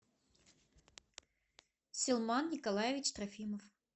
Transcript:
силман николаевич трофимов